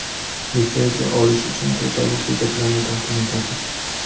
Litsenziya olish uchun quyidagi hujjatlarni taqdim etasiz:.